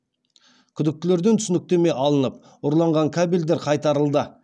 күдіктілерден түсініктеме алынып ұрланған кабельдер қайтарылды